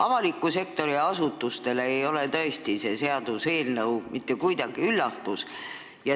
Avaliku sektori asutustele ei ole see seaduseelnõu tõesti mitte mingi üllatus.